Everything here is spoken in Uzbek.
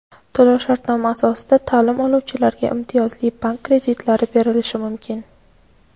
To‘lov-shartnoma asosida ta’lim oluvchilarga imtiyozli bank kreditlari berilishi mumkin.